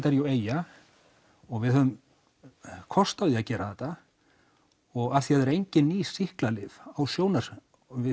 er jú eyja og við höfum kost á því að gera þetta og af því það eru engin ný sýklalyf á sjónarsviðinu